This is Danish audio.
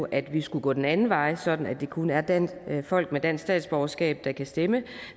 at vi skulle gå den anden vej sådan at det kun er folk med dansk statsborgerskab der kan stemme